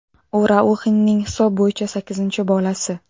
U Rauxinning hisob bo‘yicha sakkizinchi bolasi.